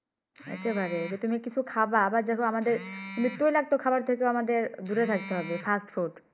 একেবারে এই তুমি কিছু খাবা আবার দেখো তুমি আমাদের তৈলাক্ত খাবার থেকেও আমাদের দূরে থাকতে হবে, Fast food